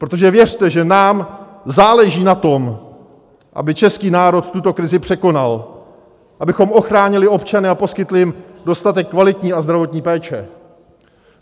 Protože věřte, že nám záleží na tom, aby český národ tuto krizi překonal, abychom ochránili občany a poskytli jim dostatek kvalitní a zdravotní péče.